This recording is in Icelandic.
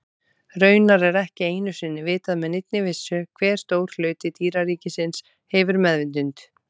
Raunar er ekki einu sinni vitað með neinni vissu hve stór hluti dýraríkisins hefur meðvitund.